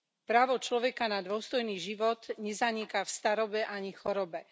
Právo človeka na dôstojný život nezaniká v starobe ani chorobe.